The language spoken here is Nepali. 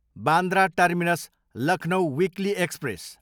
Bandra terminus, Lucknow weekly express